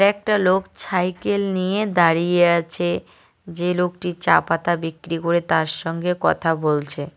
একটা লোক ছাইকেল নিয়ে দাঁড়িয়ে আছে যে লোকটি চা পাতা বিক্রি করে তার সঙ্গে কথা বলছে।